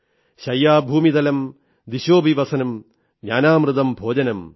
ശയ്യാ ഭൂമിതലം ദിശോളപി വസനം ജ്ഞാനാമൃതം ഭോജനം